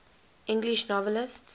english novelists